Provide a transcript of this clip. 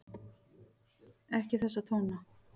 Ekki þessa tóna!